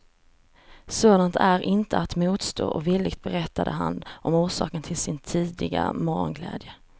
Sådant är inte att motstå och villigt berättade han om orsaken till sin tidiga morgonglädje.